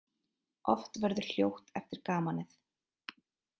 Oft verður hljótt eftir gamanið.